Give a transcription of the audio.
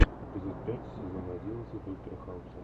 эпизод пять сезон одиннадцать доктора хауса